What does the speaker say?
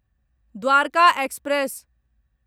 Dwarka express